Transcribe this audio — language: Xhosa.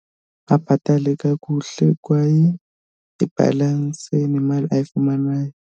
Abhatale kakuhle kwaye ibhalanse nemali ayifumanayo.